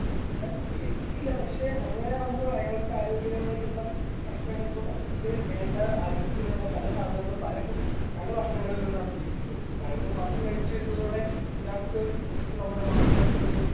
ഞാൻ കേട്ടിട്ടില്ല പക്ഷെ അങ്ങനെയാകുമ്പോൾ അയാൾക്കാരോഗ്യപരമായുള്ള പ്രശ്നങ്ങളിപ്പൊ നമുക്ക് വേണ്ട ആരോഗ്യത്തിനുള്ള പല സാധനങ്ങളും പല പല ഭക്ഷണങ്ങളിൽ നിന്നാണ് ലഭിക്കുന്നത് ഇപ്പൊ പഴങ്ങൾ മാത്രം കഴിച്ച് വരുന്നതോടെ ഇയാൾക്ക് ഇപ്പൊ നമ്മടെ മാംസങ്ങളിൽ നിന്നും.